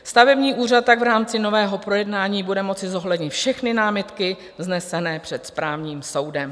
Stavební úřad tak v rámci nového projednání bude moci zohlednit všechny námitky vznesené před správním soudem.